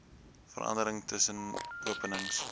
verandering tussen openings